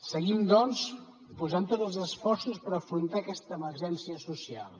seguim doncs posant tots els esforços per afrontar aquesta emergència social